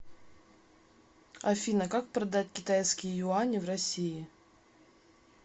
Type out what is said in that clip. афина как продать китайские юани в россии